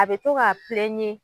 A bɛ to k'a